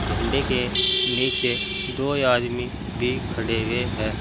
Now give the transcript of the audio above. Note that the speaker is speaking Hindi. झंडे के नीचे दो आदमी भी खड़े हुए हैं।